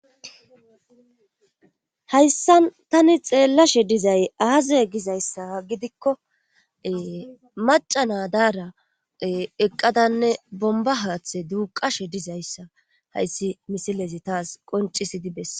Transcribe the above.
Hayssan tani xeellashe dizay aaze gizayssa gidikko maca nadaara eqqadanne bomba haaththe duuqashe dizayssa hayssi misilezi taas qoncisidi bes.